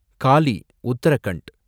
Galle, Uttarakhand